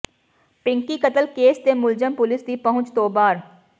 ਪਿੰਕੀ ਕਤਲ ਕੇਸ ਦੇ ਮੁਲਜ਼ਮ ਪੁਲੀਸ ਦੀ ਪਹੁੰਚ ਤੋਂ ਬਾਹਰ